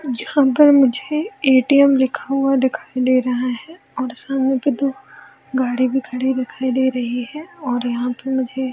यहां पर मुझे ए.टी.एम. लिखा हुआ दिखाई दे रहा है और सामने के दो गाड़ी भी खड़ी दिखाई दे रही है और यहां पे मुझे --